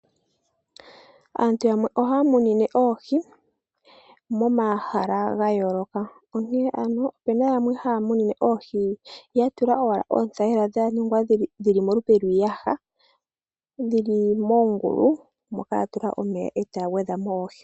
Aantu yamwe oha yamunine oohi momahala ga yooloka onkene ano opuna yamwe haya munine oohi yatula owala oothayila dhaningwa dhili momalupe lwiiyaha dhili moongulu mo haya tula omeya eta yagwedhamo oohi.